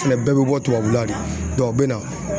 O fɛnɛ bɛɛ bɛ bɔ tubabula de, u bɛ na.